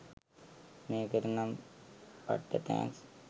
මේකට නම් පට්ට තැන්ක්ස්